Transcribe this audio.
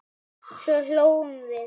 Svo hlógum við.